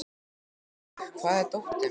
Mörk, hvar er dótið mitt?